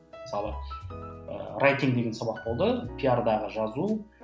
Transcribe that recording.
мысалы деген сабақ болды пиардағы жазу